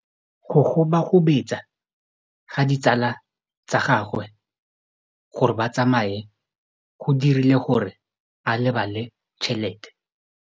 Go gobagobetsa ga ditsala tsa gagwe, gore ba tsamaye go dirile gore a lebale tšhelete.